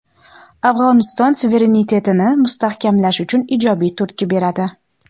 Afg‘oniston suverenitetini mustahkamlash uchun ijobiy turtki beradi.